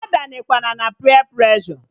A danyekwana na peer preshọ!